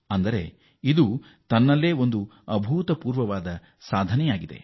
ಹೀಗಾಗಿ ಇದು ಅಭೂತಪೂರ್ವ ಸಾಧನೆಯಾಗಿದೆ